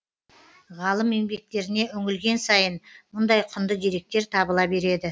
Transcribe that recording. ғалым еңбектеріне үңілген сайын мұндай құнды деректер табыла береді